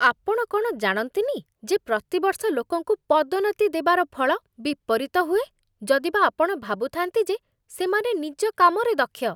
ଆପଣ କ'ଣ ଜାଣନ୍ତିନି ଯେ ପ୍ରତିବର୍ଷ ଲୋକଙ୍କୁ ପଦୋନ୍ନତି ଦେବାର ଫଳ ବିପରୀତ ହୁଏ, ଯଦିବା ଆପଣ ଭାବୁଥାନ୍ତି ଯେ ସେମାନେ ନିଜ କାମରେ ଦକ୍ଷ?